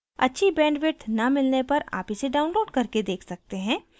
अच्छी bandwidth न मिलने पर आप इसे download करके देख सकते हैं